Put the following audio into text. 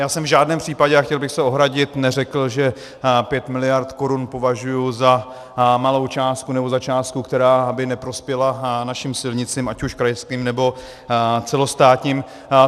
Já jsem v žádném případě, a chtěl bych se ohradit, neřekl, že 5 miliard korun považuji za malou částku nebo za částku, která by neprospěla našim silnicím ať už krajským nebo celostátním.